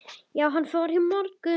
Já, hann fór í morgun